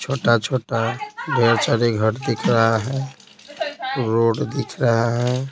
छोटा-छोटा ढ़ेर सारे घर दिख रहा है रोड दिख रहा है।